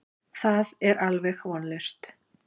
Það er alveg vonlaust.